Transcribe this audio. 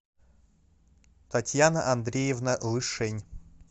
татьяна андреевна лышень